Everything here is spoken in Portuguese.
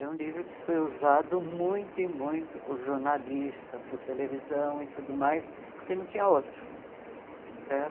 É um livro que foi usado muito e muito por jornalista, por televisão e tudo mais, porque não tinha outro certo.